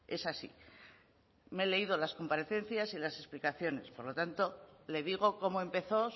es así me he leído las comparecencias y las explicaciones por lo tanto le digo cómo empezó